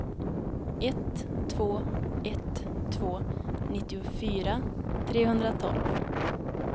ett två ett två nittiofyra trehundratolv